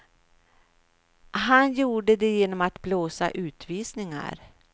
Han gjorde det genom att blåsa utvisningar.